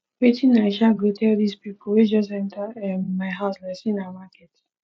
wetin i um go tell dese pipo wey just enta um my house like sey na market